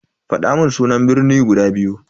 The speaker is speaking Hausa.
Fadamun sunan birni guda biyu.